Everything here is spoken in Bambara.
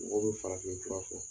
Ngodo fa fe i b'a fɔ